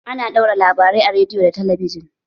Ana ɗaura labarai a rediyo da talabijin